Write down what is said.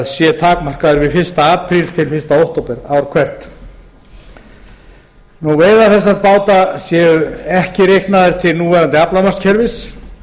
sé takmarkaður við fyrsta apríl til fyrsta október ár hvert veiðar þessara báta séu ekki reiknaðar til núverandi aflamarkskerfis